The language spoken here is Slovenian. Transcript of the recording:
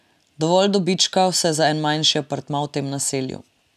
Dovolj dobička vsaj za en manjši apartma v tem naselju.